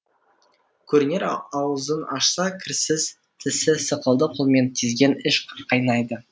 көрінер аузын ашса кірсіз тісі сықылды қолмен тізген іш қайнайды